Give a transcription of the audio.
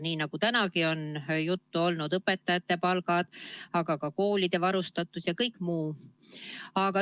Nii nagu tänagi on juttu olnud: õpetajate palgad, aga ka koolide varustatus ja kõik muu.